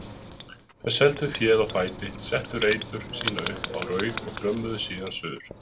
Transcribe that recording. Þau seldu féð á fæti, settu reytur sínar upp á Rauð og þrömmuðu suður.